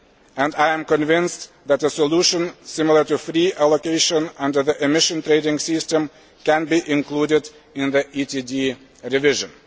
And I am convinced that a solution similar to free allocation under the Emissions Trading System can be included in the ETD revision.